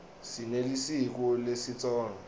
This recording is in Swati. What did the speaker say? sinelisiko lesitsonga